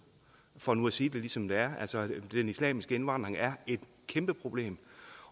for nu at sige det ligesom det er altså den islamiske indvandring er et kæmpe problem